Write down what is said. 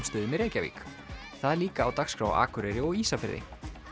stöðum í Reykjavík það er líka á dagskrá á Akureyri og Ísafirði